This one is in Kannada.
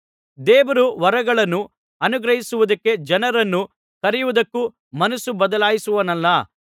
ದೇವರು ವರಗಳನ್ನು ಅನುಗ್ರಹಿಸುವುದಕ್ಕೆ ಜನರನ್ನು ಕರೆಯುವುದ್ದಕ್ಕೂ ಮನಸ್ಸು ಬದಲಾಯಿಸುವವನಲ್ಲ